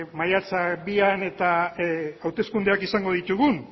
maiatzak bian eta hauteskundeak izango ditugun